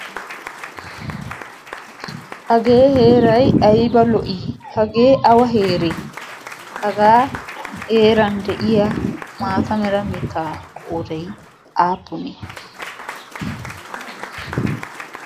Hage heeray aybba lo''i? hagee awa heere? haga heeran de'iyaa mataa mala mitta qoodday aappunne?